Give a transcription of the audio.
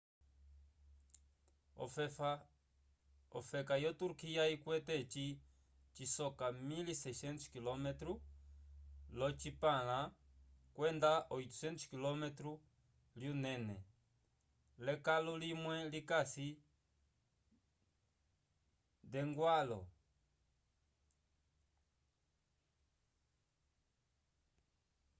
ofefa yo turquia ikwete eci cisoka 1.600 km lyocipãla kwenda 800 km lyunene l'ekalo limwe likasi nd'eñgwãlo